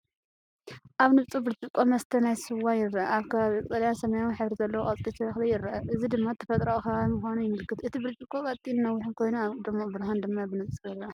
ኣብ ንጹር ብርጭቆ መስተ ናይ ስዋ ይርአ። ኣብ ከባቢኡ ቀጠልያን ሰማያውን ሕብሪ ዘለዎ ቆጽሊ ተኽሊ ይርአ፣ እዚ ድማ ተፈጥሮኣዊ ከባቢ ምዃኑ የመልክት። እቲ ብርጭቆ ቀጢንን ነዊሕን ኮይኑ፡ ኣብ ድሙቕ ብርሃን ድማ ብንጹር ይርአ።